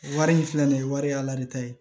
Wari in filɛ nin ye wari ye ala de ta ye